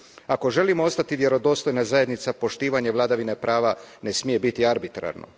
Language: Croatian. Ako želimo ostati vjerodostojna zajednica, poštivanje vladavine prava ne smije biti arbitrarno.